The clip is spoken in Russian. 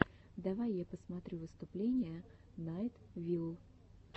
давай я посмотрю выступление найт вилл